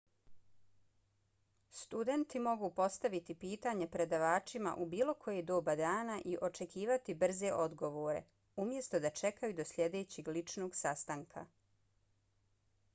studenti mogu postaviti pitanja predavačima u bilo koje doba dana i očekivati brze odgovore umjesto da čekaju do sljedećeg ličnog sastanka